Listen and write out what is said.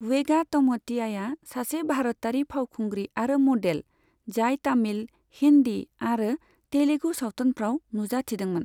वेगा तम'तियाआ सासे भारतारि फावखुंग्रि आरो मडेल, जाय तामिल, हिन्दी आरो तेलुगु सावथुनफ्राव नुजाथिदोंमोन।